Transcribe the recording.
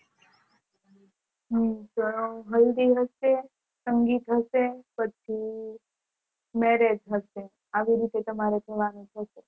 હમ તો હલ્દી રસમ હશે સંગીત હશે પછી Marriage હશે આવી રીતે તમારે જવાનું છે